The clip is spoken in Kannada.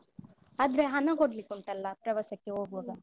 ಆದ್ರೆ ಹಣ ಕೊಡ್ಲಿಕ್ಕುಂಟಲ್ಲ ಪ್ರವಾಸಕ್ಕೆ ಹೋಗುವಾಗ.